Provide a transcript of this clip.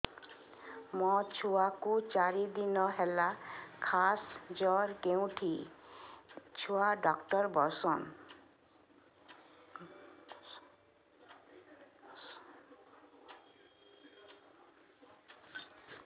ମୋ ଛୁଆ କୁ ଚାରି ଦିନ ହେଲା ଖାସ ଜର କେଉଁଠି ଛୁଆ ଡାକ୍ତର ଵସ୍ଛନ୍